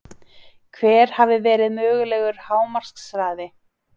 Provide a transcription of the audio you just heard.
Hver hafi verið mögulegur hámarkshraði?